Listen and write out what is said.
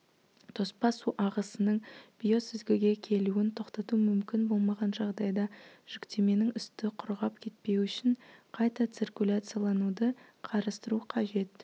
тоспа су ағысының биосүзгіге келуін тоқтату мүмкін болмаған жағдайда жүктеменің үсті құрғап кетпеу үшін қайта циркуляциялануды қарастыру қажет